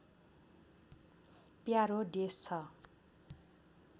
प्यारो देश छ